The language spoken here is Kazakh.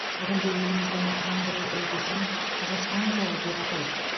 бүгінде еліміздің жаңғыру үлгісін қазақстан жолы деп атайды